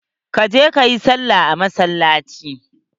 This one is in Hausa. Ka je kayi salla a masallaci.